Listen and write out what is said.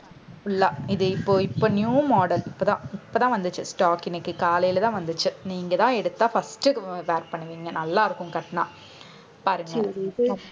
full ஆ இது இப்போ இப்போ new model இப்போதான். இப்போதான் வந்துச்சு stock இன்னைக்கு காலையிலதான் வந்துச்சு நீங்கதான் எடுத்தா first wear பண்ணுவீங்க. நல்லா இருக்கும் கட்னா பாருங்க